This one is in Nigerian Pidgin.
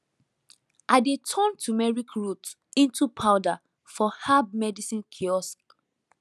i dey turn turmeric root into powder for herb medicine kiosk